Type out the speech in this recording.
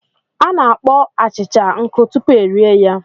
A na-akpọọ achịcha nkụ tupu erie ya.